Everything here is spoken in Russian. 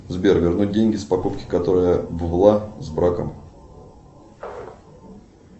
сбер вернуть деньги с покупки которая была с браком